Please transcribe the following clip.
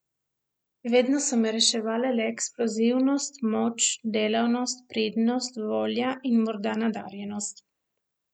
Vedno so me reševale le eksplozivnost, moč, delavnost, pridnost, volja in morda nadarjenost.